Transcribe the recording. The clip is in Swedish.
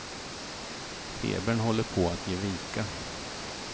Febern håller på att ge vika.